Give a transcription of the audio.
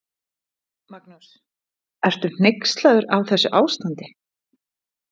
Magnús: Ertu hneyksluð á þessu ástandi?